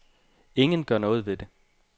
Ingen gør noget ved det.